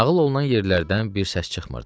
Nağıl olunan yerlərdən bir səs çıxmırdı.